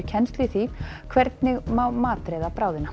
kennslu í því hvernig má matreiða bráðina